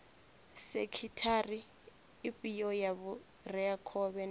sekhithara ifhio ya vhureakhovhe na